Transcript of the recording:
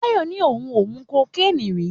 Tayo ní òun ò mu cocaine rí.